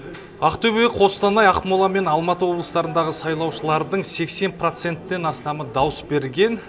ақтөбе қостанай ақмола мен алматы облыстарындағы сайлаушылардың сексен проценттен астамы дауыс берген